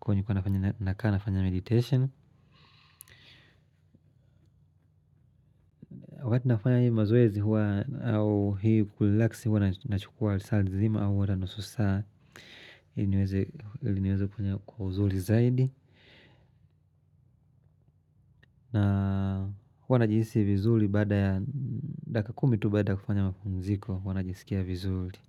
Kwahiyo nilikuwa nafanya nakaa nafanya meditation. Wakati nafanya hii mazoezi huwa au hii kuli relaksi huwa nachukua lisaa zima au hata nusu saa niweze kufanya kwa uzuri zaidi. Na huwa najihisi vizuri baada ya dakika kumi tu baada kufanya mapumziko. Huwa najisikia vizuri.